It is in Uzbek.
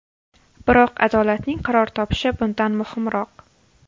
Biroq adolatning qaror topishi bundan muhimroq.